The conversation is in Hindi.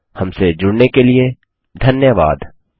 हमसे जुड़ने के लिए धन्यवाद